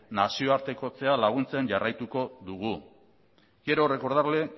nazioartekotzekoa laguntzen jarraituko dugu quiero recordarle